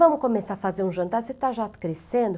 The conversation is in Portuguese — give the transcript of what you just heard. Vamos começar a fazer um jantar, você está já crescendo.